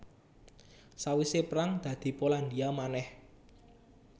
Sawisé perang dadi Polandia manèh